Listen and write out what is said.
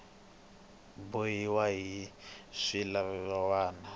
bohiwa hi swilaveko swa nawu